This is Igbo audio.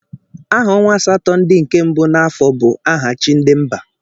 Aha ọnwa asatọ ndị nke mbụ n'afọ bụ aha chi ndị mba.